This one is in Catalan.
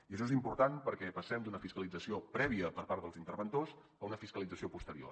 i això és important perquè passem d’una fiscalització prèvia per part dels interventors a una fiscalització posterior